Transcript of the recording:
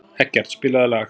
Eggert, spilaðu lag.